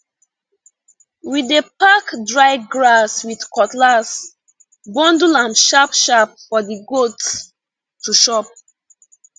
wedey pack dry grass with cutlass bundle am sharpsharp for the goats to chop